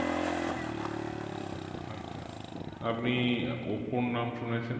আপনি আহ ওপো র নাম শুনেছেন?